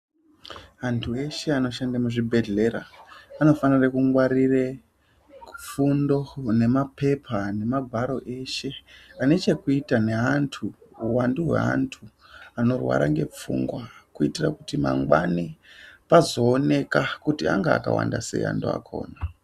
Antu eshe anoshanda muzvibhedlera anofanire kungwarire ku fundo nemapepa nemagwaro eshe ane chekuita neantu uwandu hweantu anorwara nepfungwa kuitira kuti mangwani pazooneka kuti anga akawanda sei antu akona.